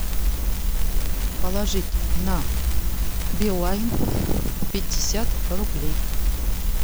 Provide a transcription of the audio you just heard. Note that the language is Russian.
положить на билайн пятьдесят рублей